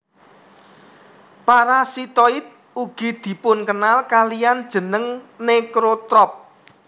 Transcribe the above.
Parasitoid ugi dipunkenal kaliyan jeneng necrotroph